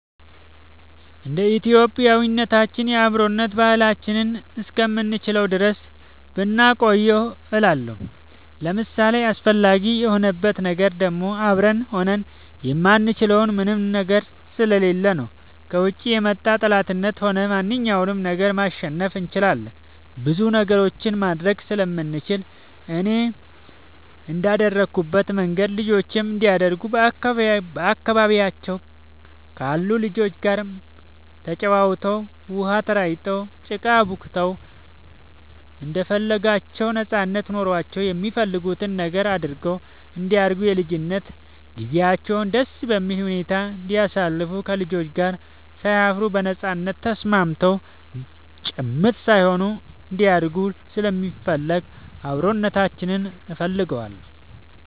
እንደ ኢትዮጵያዊነታችን የአብሮነት ባህላችንን እስከምንችለው ድረስ ብናቆየው እላለሁኝ። ለእኔ አስፈላጊ የሆንበት ነገር ደግሞ አብረን ሆነን የማንችለው ምንም ነገር ስለሌለ ነው። ከውጭ የመጣ ጠላትንም ሆነ ማንኛውንም ነገር ማሸነፍ እንችላለን ብዙ ነገሮችንም ማድረግ ስለምንችል፣ እኔም እንደአደኩበት መንገድ ልጆቼም እንዲያድጉ በአካባቢያቸው ካሉ ልጆች ጋር ተጫውተው, ውሃ ተራጭተው, ጭቃ አቡክተው እንደፈለጋቸው ነጻነት ኖሯቸው የሚፈልጉትን ነገር አድርገው እንዲያድጉ የልጅነት ጊዜያቸውን ደስ በሚል ሁኔታ እንዲያሳልፉ ከልጆች ጋር ሳይፈሩ በነጻነት ተስማምተው ጭምት ሳይሆኑ እንዲያድጉ ስለምፈልግ አብሮነታችንን እፈልገዋለሁ።